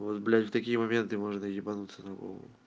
вот блять в такие моменты можно ебанутся на голову